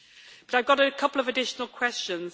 I have got a couple of additional questions.